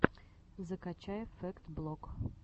закачай фэкт блог